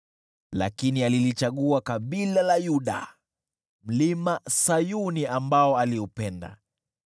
lakini alilichagua kabila la Yuda, Mlima Sayuni, ambao aliupenda.